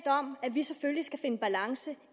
vi selvfølgelig skal finde balance